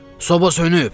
Soba sönüb!